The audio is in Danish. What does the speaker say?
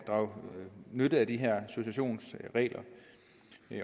drage nytte af de her successionsregler